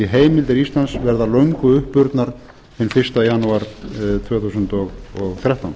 heimildir íslands verða löngu uppurnar hinn fyrsta janúar tvö þúsund og þrettán